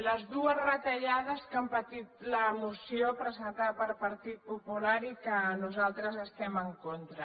les dues retallades que ha patit la moció presentada pel partit popular i que nosaltres hi estem en contra